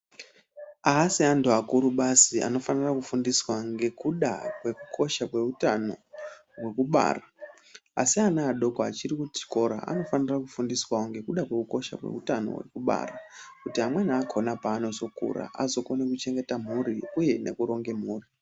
Haasi antu akuru basi anofanira kufundiswa ngekuda kwekukosha kweutano hwekubara. Asi ana adoko achiri kuchikora anofanira kufundiswawo ngekukosha kweutano hwekubara kuti amweni akona paanozokura azokone kuchengeta mhuri uye nekuronge mhuri.